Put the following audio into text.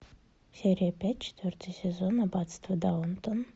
серия пять четвертый сезон аббатство даунтон